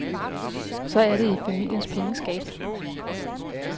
Så er det i familiens pengeskab.